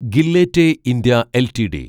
Gillette India LTD